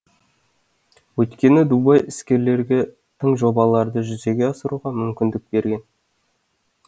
өйткені дубай іскерлерге тың жобаларды жүзеге асыруға мүмкіндік берген